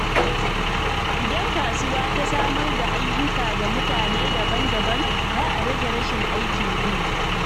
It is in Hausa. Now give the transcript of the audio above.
Idan kasuwa ta samar da ayyuka ga mutane daban-daban, za a rage rashin aikin yi.